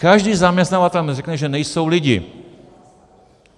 Každý zaměstnavatel vám řekne, že nejsou lidi.